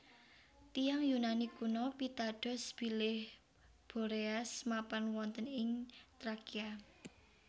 Tiyang Yunani kuno pitados bilih Boreas mapan wonten ing Trakia